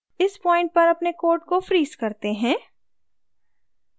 इस point पर अपने code को freeze करते हैं